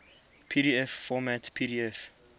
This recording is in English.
pdf format pdf